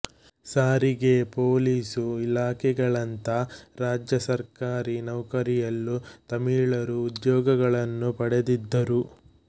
ಸಾರಿಗೆ ಪೋಲೀಸು ಇಲಾಖೆಗಳಂಥ ರಾಜ್ಯ ಸರ್ಕಾರಿ ನೌಕರಿಗಳಲ್ಲೂ ತಮಿಳರು ಉದ್ಯೋಗಗಳನ್ನು ಪಡೆದಿದ್ದರು